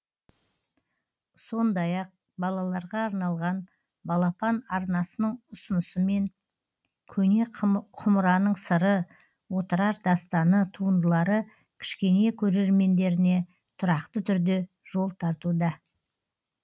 сондай ақ балаларға арналған балапан арнасының ұсынысымен көне құмыраның сыры отырар дастаны туындылары кішкене көрермендеріне тұрақты түрде жол тартуда